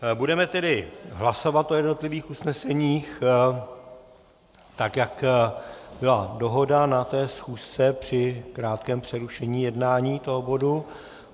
Budeme tedy hlasovat o jednotlivých usneseních, tak jak byla dohoda na té schůzce při nějakém přerušení jednání toho bodu.